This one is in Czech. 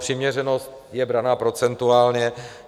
Přiměřenost je braná procentuálně.